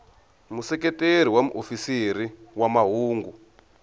museketeri wa muofisiri wa mahungu